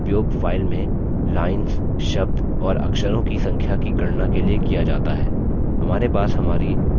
इस command का उपयोग file में lines शब्द और अक्षरों की संख्या की गणना के लिए किया जाता है